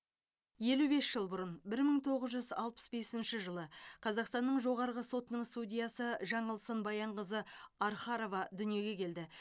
елу бес жыл бұрын бір мың тоғыз жүз алпыс бесінші жылы қазақстанның жоғарғы сотының судьясы жаңылсын баянқызы архарова дүниеге келді